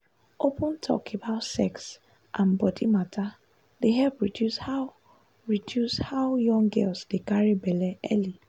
open talk about sex and body matter dey help reduce how reduce how young girls dey carry belle early.